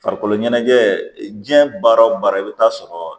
Farikolo ɲɛnajɛ diɲɛ baara o baara i bɛ taa sɔrɔ